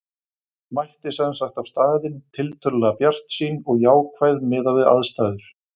Ég mætti sem sagt á staðinn tiltölulega bjartsýn og jákvæð miðað við aðstæður.